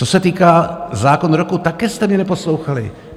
Co se týká zákonu roku, také jste mě neposlouchali.